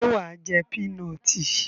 Ṣé wà á jé pínọọ̀tì?